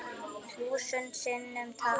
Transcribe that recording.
Þúsund sinnum takk.